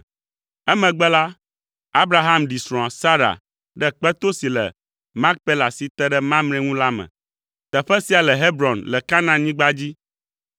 Emegbe la, Abraham ɖi srɔ̃a Sara ɖe kpeto si le Makpela si te ɖe Mamre ŋu la me. Teƒe sia le Hebron le Kanaanyigba dzi.